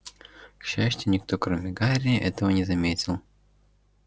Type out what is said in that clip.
к счастью никто кроме гарри этого не заметил